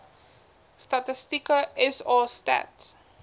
statistieke sa stats